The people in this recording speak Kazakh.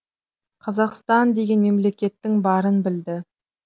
қазақстан деген мемлекеттің барын білді